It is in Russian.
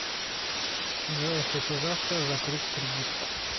джой хочу завтра закрыть кредитку